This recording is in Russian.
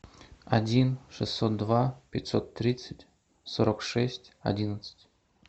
один шестьсот два пятьсот тридцать сорок шесть одиннадцать